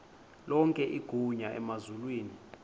lonke igunya emazulwini